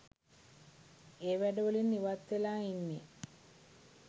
ඒ වැඩ වලින් ඉවත් වෙලා ඉන්නෙ.